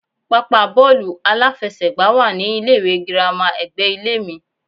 Pápá bóòlù aláfesègbá wá ní ilé ìwé girama ègbé ilé mi